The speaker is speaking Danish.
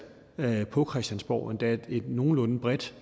på christiansborg endda et nogenlunde bredt